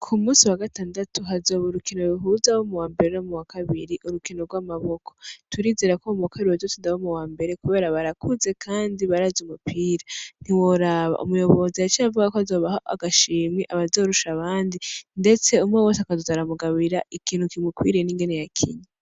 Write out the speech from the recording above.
Ku munsi wagatandatu hazoba urukino ruhuza abo mu wambere no mu wakabiri urukino rw’amaboko, turizera ko abo mu wakabiri bazotsinda abo mu wambere kubera barakuze kandi barazi umupira ntiworaba umuyobozi yaciye avuga ko azobahereza agashimwe abazorusha abandi ndetse umwe wese akozoza aramugaburira ikintu kimukwiriye ningene yakinye.